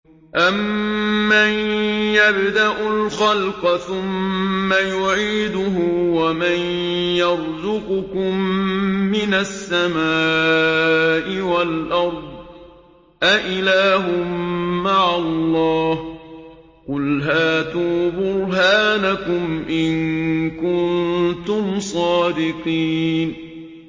أَمَّن يَبْدَأُ الْخَلْقَ ثُمَّ يُعِيدُهُ وَمَن يَرْزُقُكُم مِّنَ السَّمَاءِ وَالْأَرْضِ ۗ أَإِلَٰهٌ مَّعَ اللَّهِ ۚ قُلْ هَاتُوا بُرْهَانَكُمْ إِن كُنتُمْ صَادِقِينَ